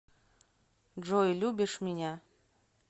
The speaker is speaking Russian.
джой любишь меня